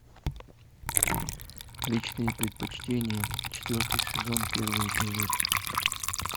личные предпочтения четвертый сезон первый эпизод